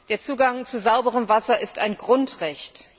Der Zugang zu sauberem Wasser ist ein Grundrecht.